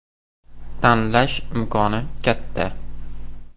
Tanlash imkoni katta.